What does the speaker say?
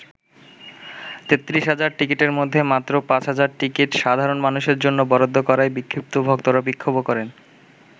৩৩ হাজার টিকিটের মধ্যে মাত্র ৫ হাজার টিকিট সাধারণ মানুষের জন্য বরাদ্দ করায় বিক্ষুব্ধ ভক্তরা বিক্ষোভও করে।